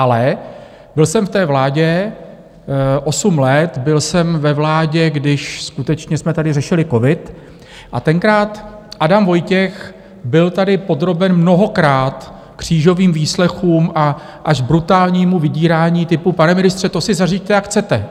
Ale byl jsem v té vládě osm let, byl jsem ve vládě, když skutečně jsme tady řešili covid, a tenkrát Adam Vojtěch byl tady podroben mnohokrát křížovým výslechům a až brutálnímu vydírání typu: Pane ministře, to si zařiďte, jak chcete.